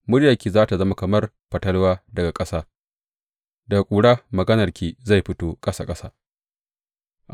Muryarki za tă zama kamar fatalwa daga ƙasa; daga ƙura maganarki zai fito ƙasa ƙasa.